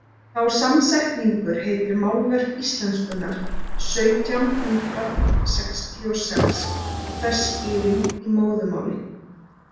Sá samsetningur heitir Málverk íslenskunnar sautján hundrað sextíu og sex og þess skýring í móðurmáli.